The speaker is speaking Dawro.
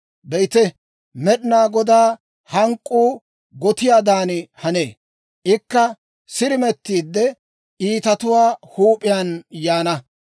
Be'ite, Med'inaa Godaa hank'k'uu gotiyaadan hanee; ikka sirimettiide, iitatuwaa huup'iyaan yaana.